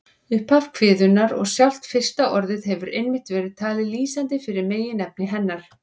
Upphaf kviðunnar og sjálft fyrsta orðið hefur einmitt verið talið lýsandi fyrir meginefni hennar.